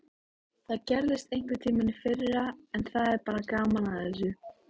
Það gerðist einhverntímann í fyrra en það er bara gaman að þessu.